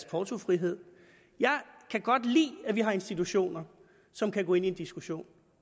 portofriheden jeg kan godt lide at vi har institutioner som kan gå ind i en diskussion